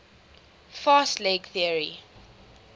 fast leg theory